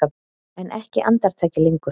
En ekki andartaki lengur.